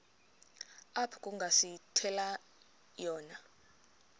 apho kungasithela khona